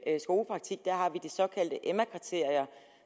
skolepraktik har vi de emma kriterier